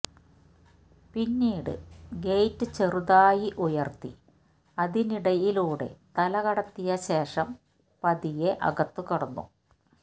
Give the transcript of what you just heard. പിന്നീട് ഗേറ്റ് ചെറുതായി ഉയര്ത്തി അതിനിടയിലൂടെ തല കടത്തിയ ശേഷം പതിയെ അകത്തു കടന്നു